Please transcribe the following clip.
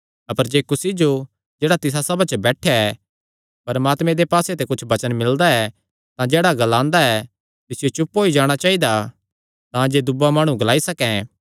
अपर जे कुसी जो जेह्ड़ा तिसा सभा च बैठेया ऐ परमात्मे दे पास्से ते कुच्छ वचन मिलदा ऐ तां जेह्ड़ा ग्लादा ऐ तिसियो चुप होई जाणा चाइदा तांजे दूआ माणु ग्लाई सकैं